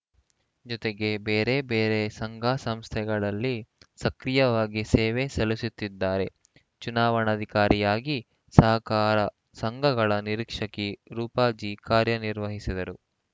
ಜೊತೆಗೆ ಬೇರೆಬೇರೆ ಸಂಘಸಂಸ್ಥೆಗಳಲ್ಲಿ ಸಕ್ರಿಯವಾಗಿ ಸೇವೆ ಸಲ್ಲಿಸುತ್ತಿದ್ದಾರೆ ಚುನಾವಣಾಧಿಕಾರಿಯಾಗಿ ಸಹಕಾರ ಸಂಘಗಳ ನಿರೀಕ್ಷಕಿ ರೂಪಾ ಜಿ ಕಾರ್ಯನಿರ್ವಹಿಸಿದರು